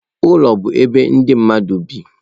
Ụlọ bụ ebe ndị mmadụ bi.